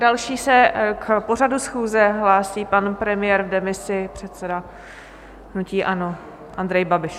Další se k pořadu schůze hlásí pan premiér v demisi, předseda hnutí ANO Andrej Babiš.